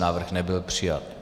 Návrh nebyl přijat.